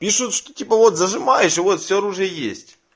пишут что типа вот зажимаешь и вот все оружие есть